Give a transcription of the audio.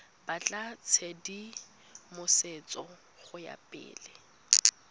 batla tshedimosetso go ya pele